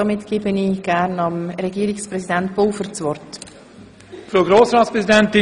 Somit gebe ich Regierungspräsident Pulver das Wort.